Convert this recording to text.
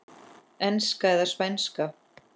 Enska eða Spænska?